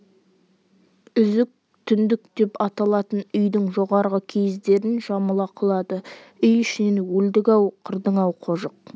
үзік түндік деп аталатын үйдің жоғарғы киіздерін жамыла құлады үй ішінен өлдік-ау қырдың-ау қожық